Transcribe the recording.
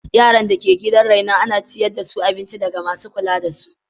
Yaran da ke gidan renon ana ciyar da su abinci ɗaga masu kula da su.